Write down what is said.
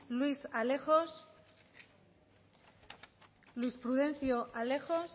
luis alejos luis prudencio alejos